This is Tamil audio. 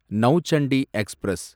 நௌசண்டி எக்ஸ்பிரஸ்